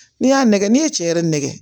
N'i y'a nɛgɛ n'i ye cɛ yɛrɛ nɛgɛ